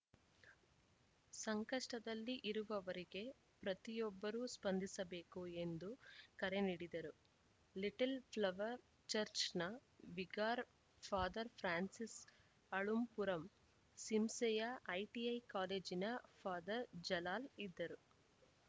ಸಂಕಷ್ಟದಲ್ಲಿ ಇರುವುವರಿಗೆ ಪ್ರತಿಯೊಬ್ಬರೂ ಸ್ಪಂದಿಸಬೇಕು ಎಂದು ಕರೆ ನೀಡಿದರು ಲಿಟಲ್‌ ಪ್ಲವರ್‌ ಚರ್ಚ್ನ ವಿಗಾರ್‌ ಫಾದರ್ ಫ್ರಾನ್ಸಿಸ್‌ ಅಳ್ಳುಂಪುರಂ ಸಿಂಸೆಯ ಐಟಿಐ ಕಾಲೇಜಿನ ಫಾದರ್ ಜಲಾಲ್‌ ಇದ್ದರು